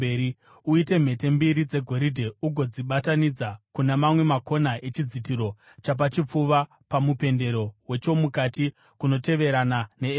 Uite mhete mbiri dzegoridhe ugodzibatanidza kuna mamwe makona echidzitiro chapachipfuva pamupendero wechomukati kunotevererana neefodhi.